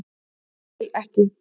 Ég vil ekki.